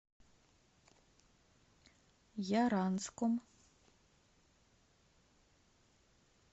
яранском